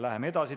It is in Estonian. Läheme edasi.